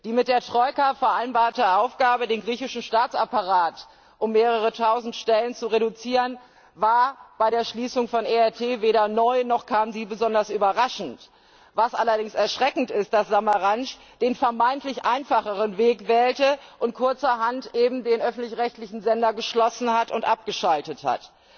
Die mit der Troika vereinbarte Aufgabe, den griechischen Staatsapparat um mehrere tausend Stellen zu reduzieren, war bei der Schließung von ERT weder neu, noch kam sie besonders überraschend. Erschreckend ist allerdings, dass Samaras den vermeintlich einfacheren Weg gewählt, und kurzerhand den öffentlich rechtlichen Sender geschlossen und abgeschaltet hat.